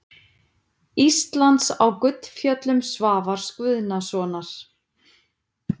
Íslands á Gullfjöllum Svavars Guðnasonar.